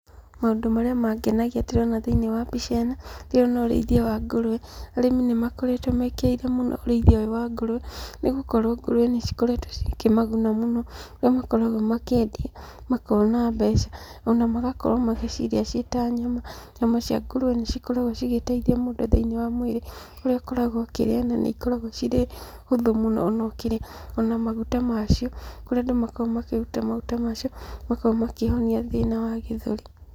Maũndũ marĩa mangenagia ndĩrona thĩinĩ wa mbica ĩno, ndĩrona ũrĩithia wa ngũrũwe, arĩmi nĩ makoretwo mekĩrĩire mũno ũrĩithia ũyũ wa ngũrũwe, nĩgũkorwo ngũrũwe nĩ cikoretwo cikĩmaguna mũno, kũrĩa makoragwo makĩendia makona mbeca, ona magakorwo magĩcirĩa ciĩ ta nyama. Nyama cia ngũrũwe nĩ cikoragwo cigĩteithia mũndũ thĩinĩ wa mwĩrĩ, kũrĩa akoragwo akĩrĩa na nĩ ikoragwo cirĩ hũthũ mũno ona ũkĩrĩa, ona maguta macio, kũrĩa andũ makoragwo makĩruta maguta macio, makauma kĩhonia thĩna wa gĩthũri.